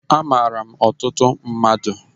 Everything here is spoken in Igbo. Amaara m ọtụtụ mmadụ